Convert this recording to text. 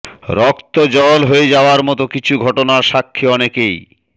রক্ত জল হয়ে যাওয়ার মত কিছু ঘটনার সাক্ষী অনেকেই